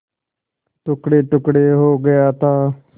टुकड़ेटुकड़े हो गया था